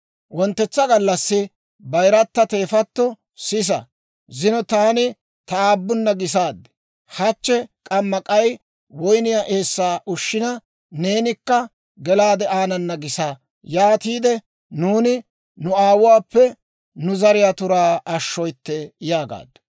Wonttetsa gallassi bayirata teefatto, «Sisa; zino taani ta aabunna gisaad; hachche k'amma k'ay woyniyaa eessaa ushshina, neenikka gelaade aanana gisa; yaatiide nuuni nu aawuwaappe nu zariyaa turaa ashshoytte» yaagaaddu.